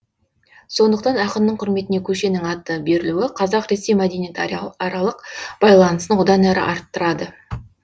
сондықтан ақынның құрметіне көшенің аты берілуі қазақ ресей аралық байланысын одан әрі арттырады